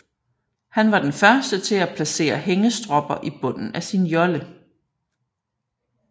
Han var den første til at placere hængestropper i bunden af sin jolle